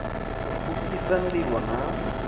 u pfukhisa nd ivho na